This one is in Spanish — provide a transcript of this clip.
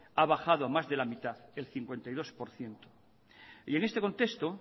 ha bajado a más de la mitad el cincuenta y dos por ciento y en este contexto